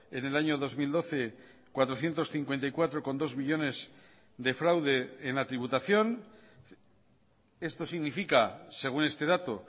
en el año dos mil doce cuatrocientos cincuenta y cuatro coma dos millónes de fraude en la tributación esto significa según este dato